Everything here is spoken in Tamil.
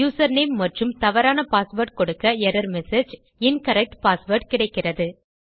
யூசர்நேம் மற்றும் தவறான பாஸ்வேர்ட் கொடுக்க எர்ரர் மெசேஜ் - இன்கரெக்ட் பாஸ்வேர்ட் கிடைக்கிறது